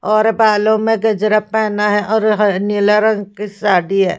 और बालों में गजरा पेहना है और ह नीला रंग की साड़ी है।